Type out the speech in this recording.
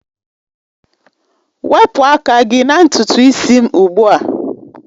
Wepụ aka gị na ntutu isi m ugbu a!